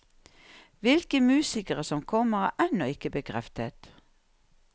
Hvilke musikere som kommer, er ennå ikke bekreftet.